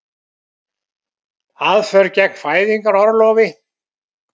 Aðför gegn fæðingarorlofi